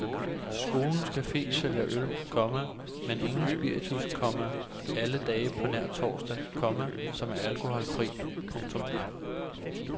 Skolens cafe sælger øl, komma men ingen spiritus, komma alle dage på nær torsdag, komma som er alkoholfri. punktum